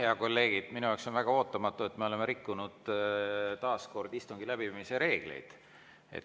Head kolleegid, minu jaoks on väga ootamatu, et me oleme taas kord rikkunud istungi läbiviimise reegleid.